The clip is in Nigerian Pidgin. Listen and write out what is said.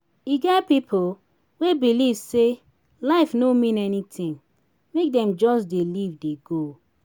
e get pipo wey believe sey life no mean anything make dem just dey live dey go